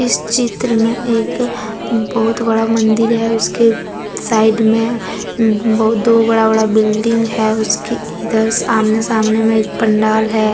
इस चित्र में एक बहुत बड़ा मंदिर है उसके साइड में बहुत दो बड़ा बड़ा बिल्डिंग है उसकी इधर सामने सामने में एक पंडाल है।